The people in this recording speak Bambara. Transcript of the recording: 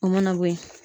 O mana bɔ yen